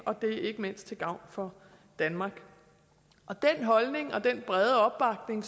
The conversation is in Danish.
og det er ikke mindst til gavn for danmark og den holdning og den brede opbakning